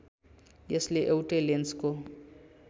यसले एउटै लेन्सको